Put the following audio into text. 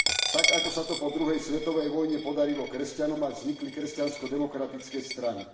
Tak ako sa to po druhej svetovej vojne podarilo kresťanom a vznikli kresťansko demokratické strany.